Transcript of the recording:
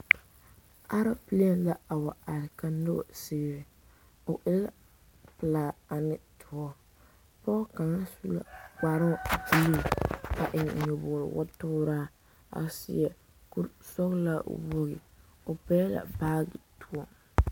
Aloopalee la wa are ka noba sigre o e la pelaa ane doɔ pɔge kaŋa su la kparoŋ a te yi a eŋ nyɔbogre wo tooraa a seɛ kurisɔglaa wogi o pɛgle la baage poɔ.